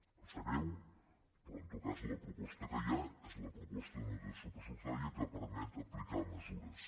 em sap greu però en tot cas la proposta que hi ha és la proposta d’una dotació pressupostària que permet aplicar mesures